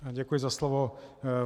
Děkuji za slovo.